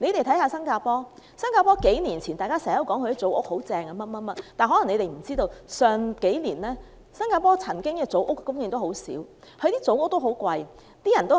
以新加坡為例，數年前大家經常說新加坡的組屋政策很好，但大家有所不知，近數年新加坡的組屋供應量十分少且價錢昂貴。